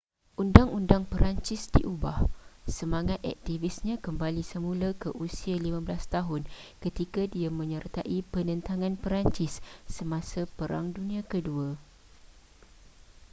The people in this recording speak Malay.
undang-undang perancis diubah semangat aktivisnya kembali semula ke usia 15 tahun ketika dia menyertai penentangan perancis semasa perang dunia ke-2